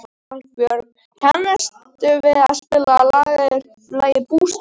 Valbjörk, kanntu að spila lagið „Bústaðir“?